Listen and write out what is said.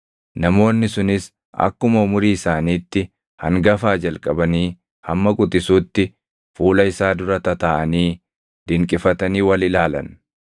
Namoonni sunis akkuma umurii isaaniitti hangafaa jalqabanii hamma quxisuutti fuula isaa dura tataaʼanii dinqifatanii wal ilaalan.